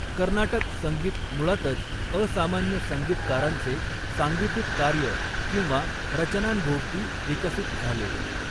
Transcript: कर्नाटक संगीत मुळातच असामान्य संगीतकारांचे सांगीतिक कार्य किंवा रचनांभोवती विकसित झाले.